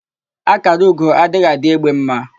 Ákàrà ugo adịghị adị égbé ḿmā.